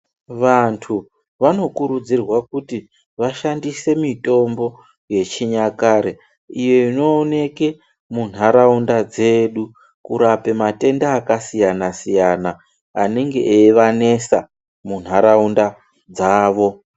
Vantu vanokurudzirwa kuti vashandise mitombo yechikare iyo inooneke munharaunda dzedu kurape matenda akasiyana siyana anenge eivanesa munharaunda dzavo.